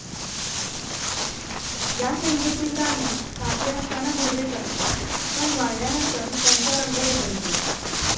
या शेंगेतील दाणे ताजे असताना हिरवेच असतात, पण वाळल्यानंतर त्यांचा रंग बदलतो.